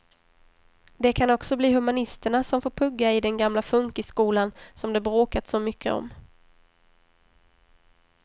Det kan också bli humanisterna som får pugga i den gamla funkisskolan som det bråkats så mycket om.